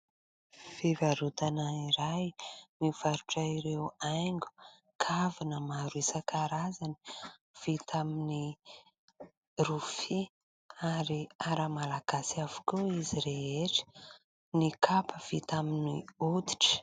Fivarotana iray mivarotra ireo haingo, kavina maro isan-karazany vita amin'ny rofia ary ara-malagasy avokoa izy rehetra, ny kapa vita amin'ny hoditra.